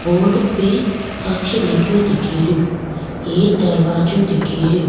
Board पे अक्ष लिखे दिखेरो एक दरवाजा दिखेरो।